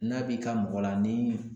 N'a b'i ka mɔgɔ la ni